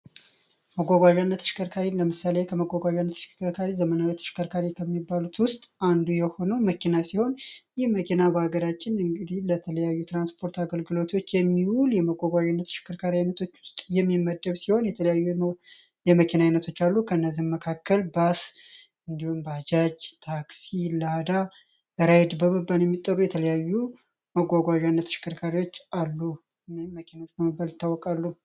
መጓጓዣነት ሽከርካሪን ለመሳለየ ከመጓጓዣነት ሽከርካሪ ዘመናሪተሽከርካሪ ከሚባሉት ውስጥ አንዱ የሆነው መኪና ሲሆን ይህ መኪና በሀገዳጭን እንግዲን ለተለያዩ ትራንስፖርት አገልግሎቶች የሚውል የመጓጓዥነት ሽከርካሪ ዓይነቶች ውስጥ የሚመደብ ሲሆን የተለያዩ የመኪና አይነቶች አሉ። ከእነዚህ መካከል ባስ እንዲዩን ባጃጅ ታክሲ ላዳ ራይድ በበበን የሚጠሩ የተለያዩ መጓጓዣነት ሽከርካሪዎች አሉመኪናች መበል ታወቃሉ።